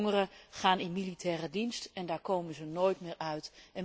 Jongeren gaan in militaire dienst en daar komen ze nooit meer uit.